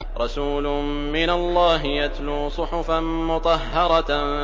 رَسُولٌ مِّنَ اللَّهِ يَتْلُو صُحُفًا مُّطَهَّرَةً